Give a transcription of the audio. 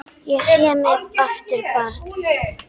Ég sé mig aftur barn.